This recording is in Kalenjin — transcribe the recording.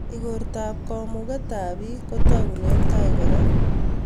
igortap kamuget ap piik kotagunen tai kora